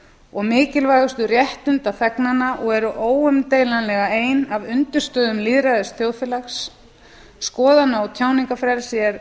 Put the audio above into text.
og mikilvægustu réttinda þegnanna og eru óumdeilanlega ein af undirstöðum lýðræðisþjóðfélags eitt skoðana og tjáningarfrelsi er